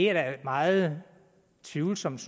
er meget tvivlsomt